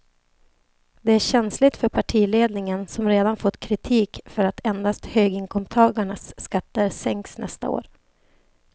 Det är känsligt för partiledningen som redan fått kritik för att endast höginkomsttagarnas skatter sänks nästa år.